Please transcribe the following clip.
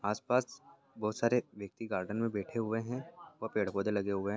आसपास बहोत सारे व्यक्ति गार्डन मे बैठे हुए है और पेड़ पौधे लगे हुए है।